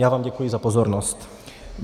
Já vám děkuji za pozornost.